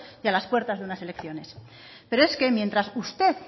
y a las puertas de una elecciones pero es que mientras usted